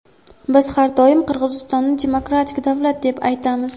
Biz har doim Qirg‘izistonni demokratik davlat deb aytamiz.